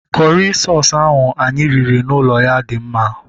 Kọrị soosu anyị riri n'ụlọ ya dị mma